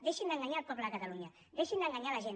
deixin d’enganyar el poble de catalunya deixin d’en ganyar la gent